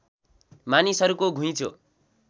मानिसहरूको घुइँचो